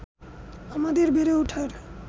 আমাদের বেড়ে ওঠার